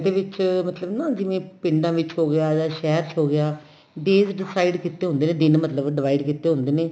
ਇਹਦੇ ਵਿੱਚ ਮਤਲਬ ਨਾ ਜਿਵੇਂ ਪਿੰਡਾ ਵਿੱਚ ਹੋਗਿਆ ਜਾਂ ਸ਼ਹਿਰ ਚ ਹੋ ਗਿਆ days decide ਕੀਤੇ ਹੁੰਦੇ ਨੇ ਦਿਨ ਮਤਲਬ divide ਕੀਤੇ ਹੁੰਦੇ ਨੇ